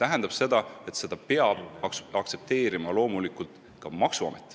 Aga loomulikult peab seda aktsepteerima ka maksuamet.